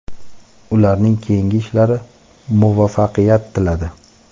ularning keyingi ishlari muvaffaqiyat tiladi.